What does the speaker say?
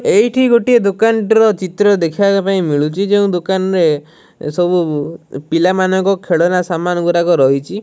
ଏଇଠି ଗୋଟିଏ ଦୋକନ୍ ଟି ର ଚିତ୍ର ଦେଖିବା ପାଈଁ ମିଳୁଛି ଯେଉଁ ଦୋକାନ ରେ ସବୁ ପିଲା ମାନଙ୍କ ଖେଳନା ସମାନ୍ ଗୁଡ଼ାକ ରହିଛି।